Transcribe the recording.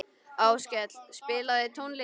Áskell, spilaðu tónlist.